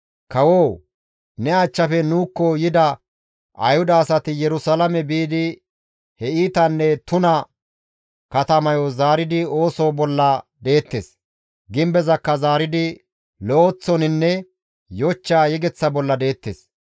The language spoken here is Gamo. «Kawoo! Ne achchafe nuukko yida Ayhuda asati Yerusalaame biidi he iitanne tuna katamayo zaaridi ooso bolla deettes; gimbezakka zaaridi lo7eththoninne yochcha yegeththa bolla deettes.